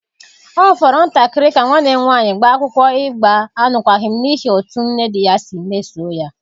Ọ fọrọ ntakịrị ka nwanne m nwaanyị gbaa akwụkwọ ịgba alụkwaghịm n’ihi otú nne dị ya si mesoo ya.